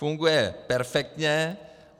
Funguje perfektně.